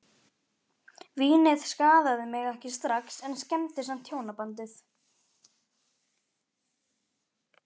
Vínið skaðaði mig ekki strax en skemmdi samt hjónabandið.